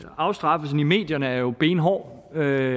afstraffelsen i medierne er jo benhård og